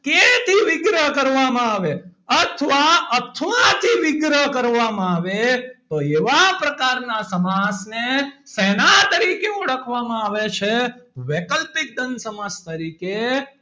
વિગ્રહ કરવામાં આવે અથવા અથવા થી વિગ્રહ કરવામાં આવે તો એવા પ્રકારના સમાસ ને શેના તરીકે ઓળખવામાં આવે છે વૈકલ્પિક દ્વંદ સમાસ તરીકે,